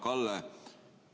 Hea Kalle!